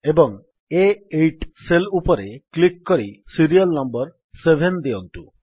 ଏବଂ ଆ8 ସେଲ୍ ଉପରେ କ୍ଲିକ୍ କରି ସିରିୟଲ୍ ନମ୍ୱର୍ 7 ଦିଅନ୍ତୁ